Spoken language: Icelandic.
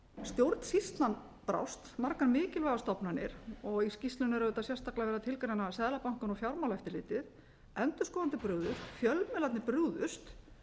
stjórnsýslan brást margar mikilvægar stofnanir og í skýrslunni er auðvitað sérstaklega verið að tilgreina seðlabankann og fjármálaeftirlitið endurskoðendur brugðust fjölmiðlarnir brugðust